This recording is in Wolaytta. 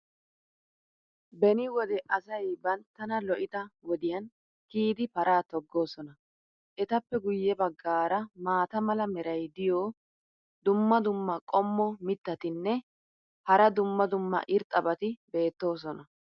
beni wode asay banttana lo'ida wodiyan kiyidi paraa togoosona. etappe guye bagaara maata mala meray diyo dumma dumma qommo mitattinne hara dumma dumma irxxabati de'oosona.